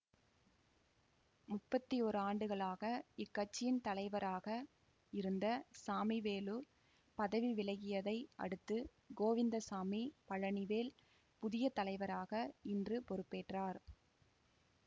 முப்பத்தி ஒரு ஆண்டுகளாக இக்கட்சியின் தலைவராக இருந்த சாமிவேலு பதவி விலகியதை அடுத்து கோவிந்தசாமி பழனிவேல் புதிய தலைவராக இன்று பொறுப்பேற்றார்